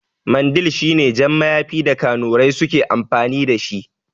Mandil shine jan mayafin da kanurai suke amfani dashi